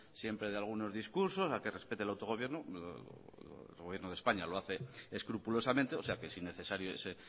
siempre de algunos discursos a que respete el autogobierno el gobierno de españa lo hace escrupulosamente o sea que es innecesario ese